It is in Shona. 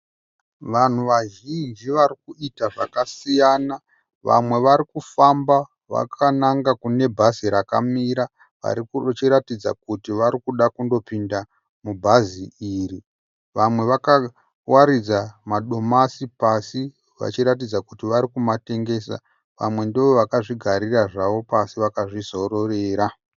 Vanhu vazhinji varikuita zvakasiyana. Vamwe vari kufamba vakananga kune bhazi rakamira vachiratidza kuti varikuda kundopinda mubhazi iri. Vamwe vakawaridza madomasi pasi vachiratidza kuti varikumatengesa. Vamwe ndovakazvigarira zvavo pasi vakazvizororera.